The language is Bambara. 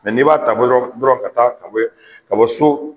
ni b'a ta dɔrɔn ka taa ka bɔ so